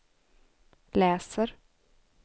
läser